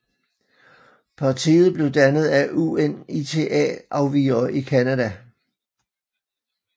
Partiet blev dannet af UNITA afvigere i Canada